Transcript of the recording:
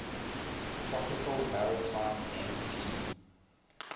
tropical maritime mt